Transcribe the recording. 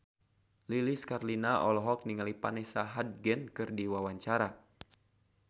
Lilis Karlina olohok ningali Vanessa Hudgens keur diwawancara